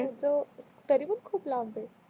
तरी पण खूप लांब आहे